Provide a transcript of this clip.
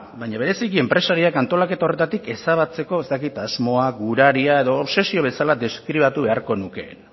baina bereziki enpresarioak antolaketa horretatik ezabatzeko ez dakit asmoak guraria edo obsesio bezala deskribatu beharko nukeena